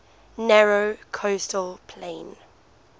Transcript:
narrow coastal plain